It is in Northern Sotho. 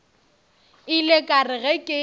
ile ka re ge ke